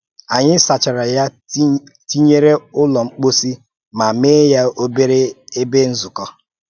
Anyị sachàrà ya tinyere Ụ́lọ̀ mposí ma mee ya obere ebe nzukọ.